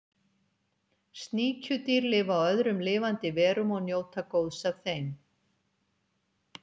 Sníkjudýr lifa á öðrum lifandi verum og njóta góðs af þeim.